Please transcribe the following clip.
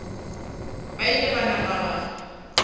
ba ile ba napa ba